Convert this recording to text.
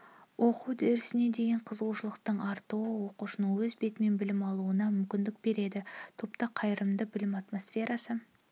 оқу үрдісіне деген қызығушылықтың артуы оқушының өз бетімен білім алуына мүмкіндік береді топта қайырымды білім атмосферасы